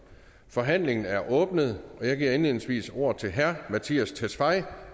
forhandlingen er åbnet og jeg giver indledningsvis ordet til herre mattias tesfaye